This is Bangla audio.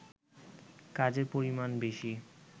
কাজের পরিমাণ বেশি